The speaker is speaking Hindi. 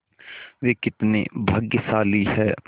वे कितने भाग्यशाली हैं